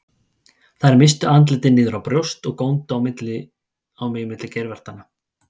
Þær misstu andlitin niður á brjóst og góndu á mig milli geirvartanna.